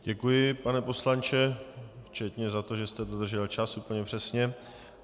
Děkuji, pane poslanče, včetně za to, že jste dodržel čas úplně přesně.